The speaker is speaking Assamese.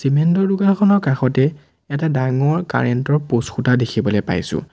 চিমেণ্টৰ দোকানখনৰ কাষতে এটা ডাঙৰ কাৰেণ্ট ৰ প'ষ্ট খুঁটা দেখিবলৈ পাইছোঁ।